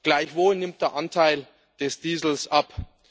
Gleichwohl nimmt der Anteil des Diesels ab.